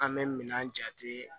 An bɛ minɛn jate